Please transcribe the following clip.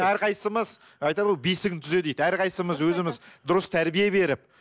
әрқайсысымыз айтады ғой бесігіңді түзе дейді әрқайсысымыз өзіміз дұрыс тәрбие беріп